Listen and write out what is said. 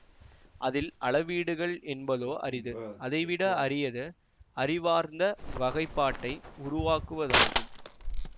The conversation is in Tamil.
அதில் அளவீடுகள் எடுப்பதே அரிது அதைவிட அரியது அறிவார்ந்த வகைப்பாட்டை உருவாக்குவதாகும்